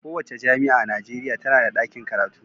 Kowace jami'a a Najeriya tana da ɗakin karatu.